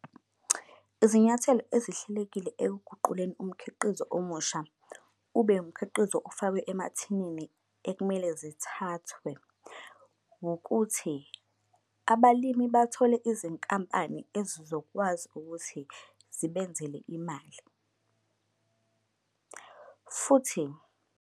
Izinyathelo ezihlelekile ekuguquleni umkhiqizo omusha ube umkhiqizo ofakwe emathineni ekumele zithathwe ngokuthi abalimi bathole izinkampani ezizokwazi ukuthi zibenzele imali, futhi